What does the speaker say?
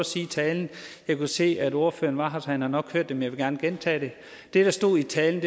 sige i talen jeg kunne se at ordføreren var her så han har nok hørt det vil gerne gentage det det der stod i talen